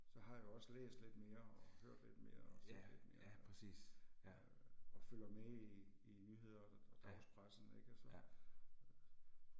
Så har jeg jo også læst lidt mere og hørt lidt mere og set lidt mere og øh og følger med i i nyheder og og dagspressen ik altså